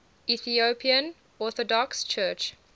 ethiopian orthodox church